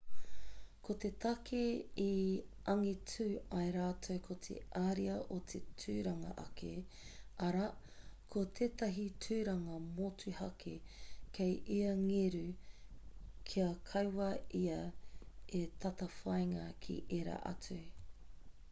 ko te take i angitu ai rātou ko te ariā o te tūranga ake arā ko tētahi tūranga motuhake kei ia ngeru kia kaua ia e tatawhāinga ki ērā atu